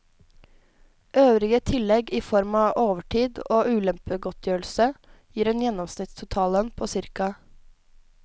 Øvrige tillegg i form av overtid og ulempegodtgjørelse gir en gjennomsnittlig totallønn på ca.